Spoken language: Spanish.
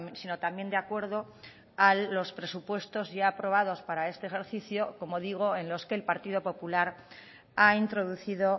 sino también de acuerdo a los presupuestos ya aprobados para este ejercicio como digo en los que el partido popular ha introducido